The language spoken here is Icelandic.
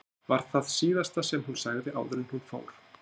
var það síðasta sem hún sagði áður en hún fór.